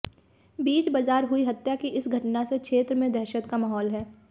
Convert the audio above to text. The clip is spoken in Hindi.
बीच बाजार हुई हत्या की इस घटना से क्षेत्र में दहशत का माहौल है